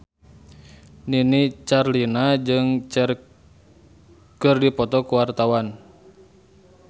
Nini Carlina jeung Cher keur dipoto ku wartawan